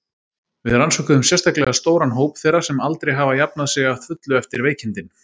Við rannsökuðum sérstaklega stóran hóp þeirra sem aldrei hafa jafnað sig að fullu eftir veikindin.